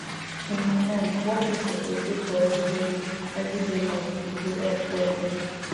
in my mind walking suppose dey for everybody everyday life e go help well well